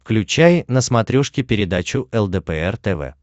включай на смотрешке передачу лдпр тв